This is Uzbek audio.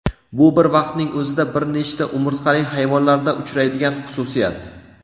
Bu bir vaqtning o‘zida bir nechta umurtqali hayvonlarda uchraydigan xususiyat.